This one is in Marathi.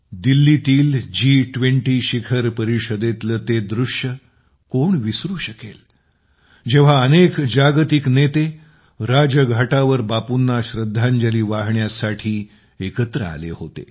दिल्लीतील जी20 शिखर परिषदेतले ते दृश्य कोण विसरू शकेल जेव्हा अनेक जागतिक नेते राजघाटावर बापूंना श्रद्धांजली वाहण्यासाठी एकत्र आले होते